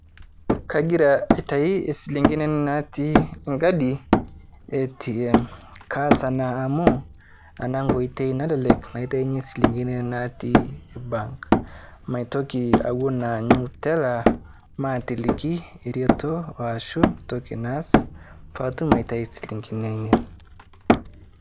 Kajira aitai silingini ana natii nkaadi e atm. Kaas ana amu ana nkoitei nanelelek naiteinye silingini natii bank. Maitoki awuen anyuu telaa maatiliki retoo oashu ntooki naas pee atum aitai silingini ainen.